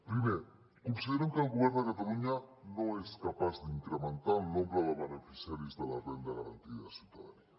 primer considerem que el govern de catalunya no és capaç d’incrementar el nombre de beneficiaris de la renda garantida de ciutadania